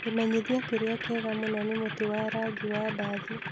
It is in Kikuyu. Kĩmenyithia kĩrĩa kĩega mũno nĩ mũtĩ wa rangi wa ndathi.